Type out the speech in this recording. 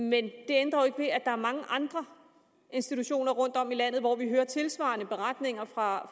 men det ændrer jo ikke ved at der er mange andre institutioner rundtom i landet hvor vi hører tilsvarende beretninger fra